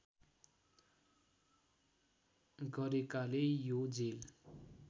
गरेकाले यो जेल